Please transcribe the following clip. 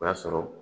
O y'a sɔrɔ